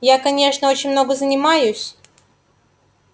я конечно очень много занимаюсь